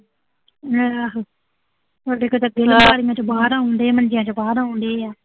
ਆਹੋ, ਸੋਡੇ ਕੋਲ ਤਾਂ ਪਹਿਲੀਂ ਬਾਰੀਆਂ ਚੋਂ ਬਾਹਰ ਆਉਣ ਡਏ ਆ, ਮੰਜਿਆਂ ਚੋਂ ਬਾਹਰ ਆਉਣ ਡਏ ਆ।